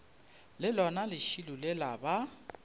le lona lešilo lela ba